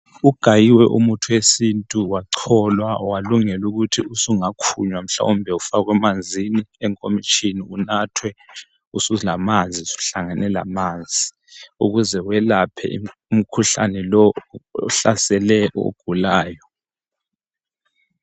ugayiwe umuthi wesintu wacholwa walungela ukuthi usungakhunywa mhlawumbe ufakwe emanzini enkomitshini unathwe usulamanzi usuhlangane lamanzi ukuze welaphe umkhuhlane lowu ohlasele ogulayo